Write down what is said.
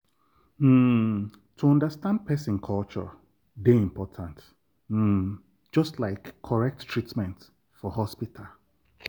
um to understand person culture dey important um just like correct treatment for hospital.